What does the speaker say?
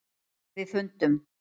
. við fundum.